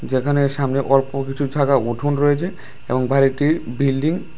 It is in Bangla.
যেখানে সামনে অল্প কিছু জায়গা উঠুন রয়েছে এবং বাড়িটি বিল্ডিং --